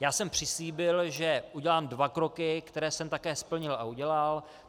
Já jsem přislíbil, že udělám dva kroky, které jsem také splnil a udělal.